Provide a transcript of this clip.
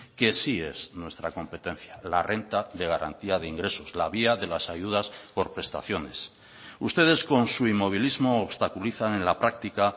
que sí es nuestra competencia la renta de garantía de ingresos la vía de las ayudas por prestaciones ustedes con su inmovilismo obstaculizan en la práctica